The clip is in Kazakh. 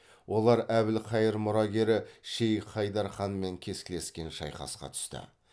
олар әбілқайыр мұрагері шейх хайдар ханмен кескілескен шайқасқа түсті